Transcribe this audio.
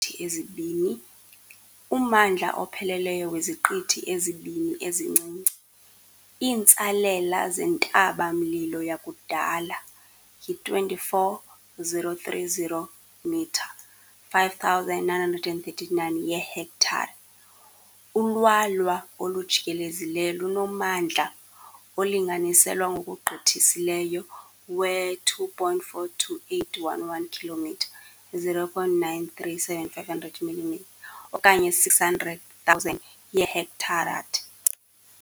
Ummandla opheleleyo weziqithi ezibini ezincinci, iintsalela zentaba-mlilo yakudala, yi-24,030 m, 5,939 yeehektare. Ulwalwa olujikelezileyo lunommandla, olinganiselwa ngokugqithisileyo, we-2.42811 km, 0.937500 mm okanye 600,000 yeehektare.